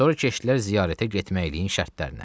Sonra keçdilər ziyarətə getməyiliyin şərtlərinə.